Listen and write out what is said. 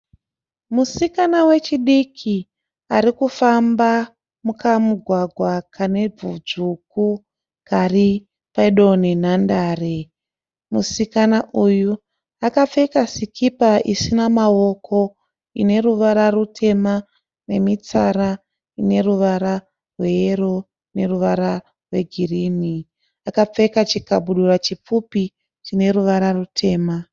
Musikana wechidiki ari kufamba mukamugwawa kane vhu dzvuku kari pedo nenhandare. Musikana uyu akapfeka sikipa isina maoko, ine ruvara rutema nemitsara ine ruvara rweyero neruvara rwegirini. Akapfeka chikabudura chipfupi chine ruvara rutema.